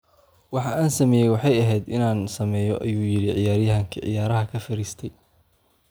“Waxa aan sameeyay waxa ay ahayd in aan sameeyo”ayuu yidhi ciyaaryahankii ciyaaraha ka fariistay.